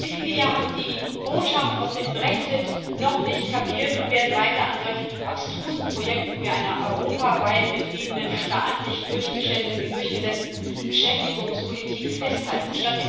Ich fürchte, viele hier haben die Botschaft aus dem Brexit noch nicht kapiert und werden weiter an solch abstrusen Projekten wie einer europaweit betriebenen, staatlich durchgesetzten Beschäftigungspolitik festhalten.